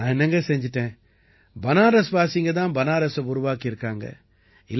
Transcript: நான் என்னங்க செஞ்சுட்டேன் பனாரஸ்வாசிங்க தான் பனாரஸை உருவாக்கி இருக்காங்க